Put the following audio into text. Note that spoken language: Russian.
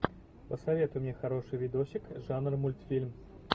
посоветуй мне хороший видосик жанр мультфильм